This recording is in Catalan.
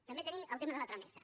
també tenim el tema de la tramesa